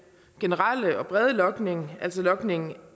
generelle og brede logning altså logning